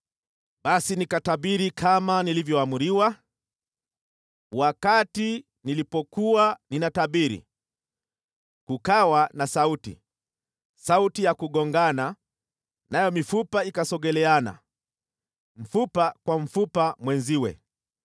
Basi nikatabiri kama nilivyoamriwa. Wakati nilipokuwa ninatabiri, kukawa na sauti, sauti ya kugongana, nayo mifupa ikasogeleana, mfupa kwa mfupa mwenziwe.